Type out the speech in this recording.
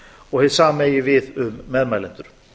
og hið sama eigi við um meðmælendur